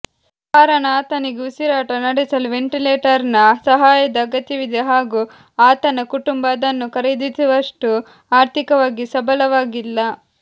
ಕಾರಣ ಆತನಿಗೆ ಉಸಿರಾಟ ನಡೆಸಲು ವೆಂಟಿಲೇಟರ್ನ ಸಹಾಯದ ಅಗತ್ಯವಿದೆ ಹಾಗೂ ಆತನ ಕುಟುಂಬ ಅದನ್ನು ಖರೀದಿಸುವಷ್ಟು ಆರ್ಥಿಕವಾಗಿ ಸಬಲವಾಗಿಲ್ಲ